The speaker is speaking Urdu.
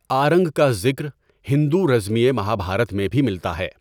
آرنگ کا ذکر ہندو رزمیے مہابھارت میں بھی ملتا ہے۔